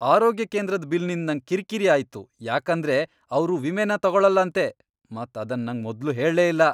ಆರೋಗ್ಯ ಕೇಂದ್ರದ್ ಬಿಲ್ ನಿಂದ್ ನಂಗ್ ಕಿರ್ಕಿರಿ ಆಯ್ತು ಯಾಕಂದ್ರೆ ಅವ್ರು ವಿಮೆನ ತಗೋಳಲ್ಲ ಅಂತೆ, ಮತ್ ಅದನ್ ನಂಗ್ ಮೊದ್ಲು ಹೇಳೇ ಇಲ್ಲ.